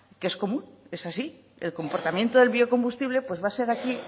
que es común es así el comportamiento del biocombustible pues va a ser aquí